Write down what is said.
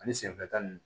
Ani senfɛta ni